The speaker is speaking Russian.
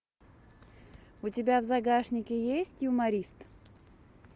у тебя в загашнике есть юморист